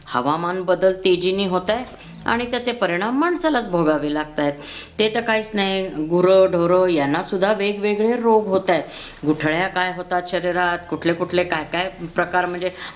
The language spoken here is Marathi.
हवामान बदल तेजीने होतंय आणि त्याचे परिणाम माणसालाच भोगावे लागतायत. ते तर काहीच नाही गुर ढोर याना सुद्धा वेगवेगळे रोग होतायत. गुठळ्या काय होतात शरीरात कुठले कुठले काय काय प्रकार म्हणजे